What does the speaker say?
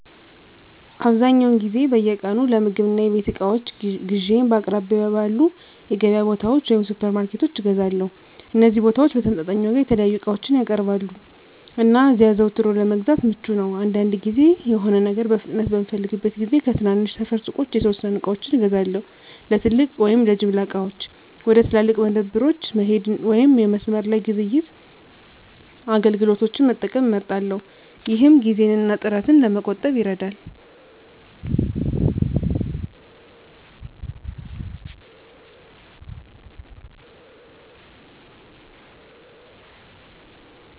አብዛኛውን ጊዜ በየቀኑ ለምግብ እና የቤት እቃዎች ግዢዬን በአቅራቢያው ባሉ የገበያ ቦታዎች ወይም ሱፐርማርኬቶች እገዛለሁ። እነዚህ ቦታዎች በተመጣጣኝ ዋጋ የተለያዩ ምርቶችን ያቀርባሉ, እና እዚያ አዘውትሮ ለመግዛት ምቹ ነው. አንዳንድ ጊዜ፣ የሆነ ነገር በፍጥነት በምፈልግበት ጊዜ ከትናንሽ ሰፈር ሱቆች የተወሰኑ ዕቃዎችን እገዛለሁ። ለትልቅ ወይም ለጅምላ ዕቃዎች፣ ወደ ትላልቅ መደብሮች መሄድ ወይም የመስመር ላይ ግብይት አገልግሎቶችን መጠቀም እመርጣለሁ፣ ይህም ጊዜን እና ጥረትን ለመቆጠብ ይረዳል።